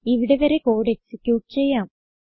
ഇവിടെ വരെ code execute ചെയ്യാം